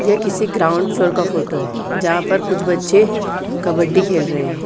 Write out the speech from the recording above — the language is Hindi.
यह किसी ग्राउंड फ्लोवर का फोटो है जहाँ पर कुछ बच्चे कबड्डी खेल रहे हैं।